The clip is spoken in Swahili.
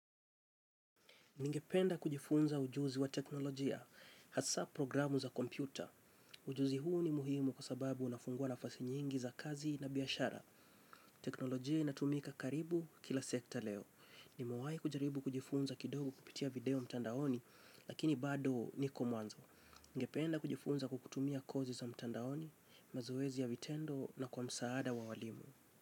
Ningependa kujifunza ujuzi wa teknolojia, hasa programu za kompyuta. Ujuzi huu ni muhimu kwa sababu unafungua nafasi nyingi za kazi na biashara. Teknolojia inatumika karibu kila sekta leo. Nimewahi kujaribu kujifunza kidogo kupitia video mtandaoni, lakini bado niko mwanzo. Ningependa kujifunza kwa kutumia kozi za mtandaoni, mazoezi ya vitendo na kwa msaada wa walimu.